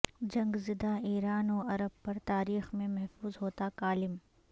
جنگ زدہ ایران و عرب پر تاریخ میں محفوظ ہوتا کالم